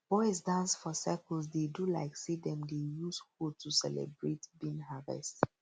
boys dance for circle dey do like say dem dey use hoe to celebrate bean harvest